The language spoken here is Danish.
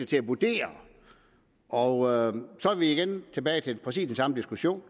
til at vurdere og så er vi igen tilbage ved præcis den samme diskussion